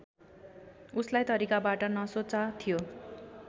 उसलाई तरिकाबाट नसोचा थियो